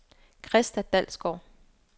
Christa Dalsgaard